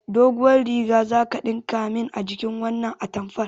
Doguwar riga zaka ɗinka min a jikin wannan atamfar